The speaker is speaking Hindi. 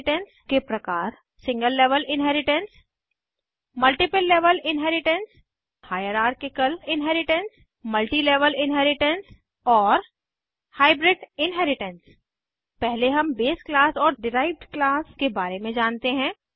इन्हेरिटेन्स के प्रकार single level inheritance multiple level inheritance hierarchical inheritance multi level inheritance और हाइब्रिड इन्हेरिटेन्स पहले हम बेस क्लास और डिराइव्ड क्लास के बारे में जानते हैं